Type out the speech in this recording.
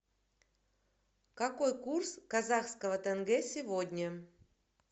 какой курс казахского тенге сегодня